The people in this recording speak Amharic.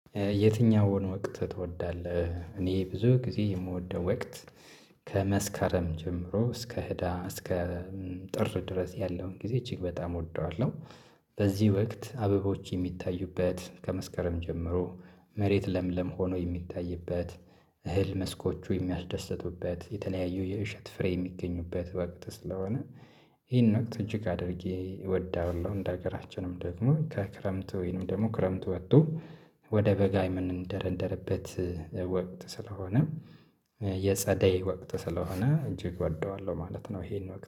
የትኛውን ወቅት ትወዳለህ? እኔ ብዙ ጊዜ የምወደው ወቅት ከመስከረም ጀምሮ እስከ ህዳር እስከ ጥር ድረስ ያለውን ጊዜ እጅግ በጣም እወደዋለሁ። በዚህ ወቅት አበቦች የሚታዩበት ከመስከረም ጀምሮ መሬት ለምለም ሆኖ የሚታይበት እህል መስኮቹ የሚያስደስቱበት የተለያዩ የእሸት ፍሬ የሚገኙበት ወቅት ስለሆነ። ይሄን ወቅት እጅግ አድርጌ እወደዋለሁ እንደ ሀገራችንም ደግሞ ከክረምቱ ወይንም ደግሞ ክረምቱ ወጥቶ ወደ በጋ የምንደረደረበት ወቅት ስለሆነ የጸደይ ወቅት ስለሆነ እጅግ እወደዋለሁ ማለት ነው። ይሄን ወቅት